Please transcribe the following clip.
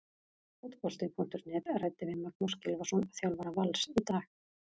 Fótbolti.net ræddi við Magnús Gylfason, þjálfara Vals, í dag.